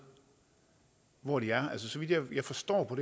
hvor de er så vidt jeg forstår på